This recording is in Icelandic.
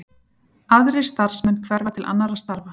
Aðrir starfsmenn hverfa til annarra starfa